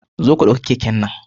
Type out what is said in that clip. Zo ka ɗauki keken nan.